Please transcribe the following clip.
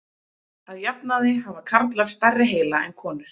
Að jafnaði hafa karlar stærri heila en konur.